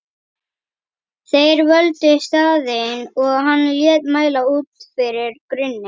Þeir völdu staðinn og hann lét mæla út fyrir grunni.